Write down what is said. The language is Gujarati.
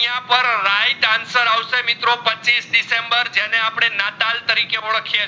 આઇયાં પર right answer અવસે મિત્રો પચ્ચીસ દિસેમ્બર જાણે અપડે નાતાલ તરીકે ઓડખીએ છે